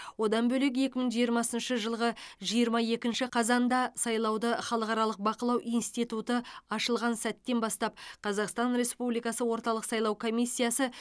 одан бөлек екі мың жиырмасыншы жылғы жиырма екінші қазанда сайлауды халықаралық бақылау институты ашылған сәттен бастап қазақстан республикасы орталық сайлау комиссиясы